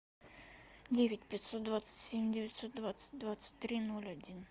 девять пятьсот двадцать семь девятьсот двадцать двадцать три ноль один